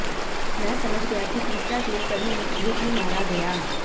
मैं समझ गया कि तीसरा रेलकर्मी मुठभेड़ में मारा गया